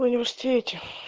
университете